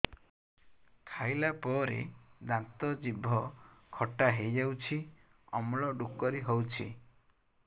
ଖାଇଲା ପରେ ଦାନ୍ତ ଜିଭ ଖଟା ହେଇଯାଉଛି ଅମ୍ଳ ଡ଼ୁକରି ହଉଛି